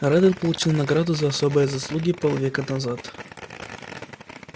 реддл получил награду за особые заслуги полвека назад